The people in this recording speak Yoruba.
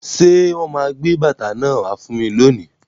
Ṣé wọn máa gbé bàtà náà wá fún mi lónìí?